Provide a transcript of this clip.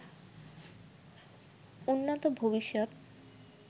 উন্নত ভবিষ্যৎ